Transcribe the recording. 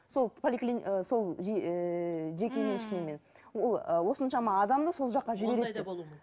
сол ы сол ііі жеке меншігімен ммм ол осыншама адамды сол жаққа